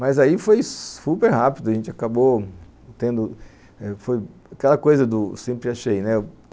Mas aí foi super rápido, a gente acabou tendo... Aquela coisa do sempre achei, né?